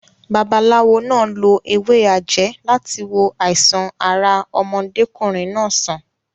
Babaláwo náà lo ewé àjẹ́ láti wo àìsàn ara ọmọdékùnrin náà sàn.